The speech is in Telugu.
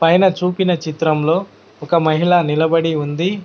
పైన చూపిన చిత్రంలో ఒక మహిళ నిలబడి ఉంది.